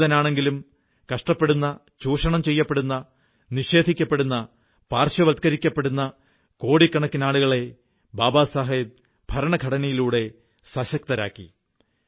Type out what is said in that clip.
ദളിതനാണെങ്കിലും കഷ്ടപ്പെടുന്ന ചൂഷണം ചെയ്യപ്പെടുന്ന നിഷേധിക്കപ്പെടുന്ന പാർശ്വവത്കരിക്കപ്പെടുന്ന കോടിക്കണക്കിനാളുകളെ ബാബാസാഹബ് ഭരണഘടനയിലൂടെ സശക്തരാക്കി